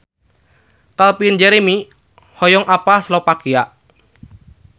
Calvin Jeremy hoyong apal Slovakia